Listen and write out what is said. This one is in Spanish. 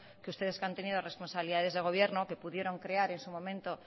que ustedes que han tenido responsabilidades de gobierno que pudieron crear en su momento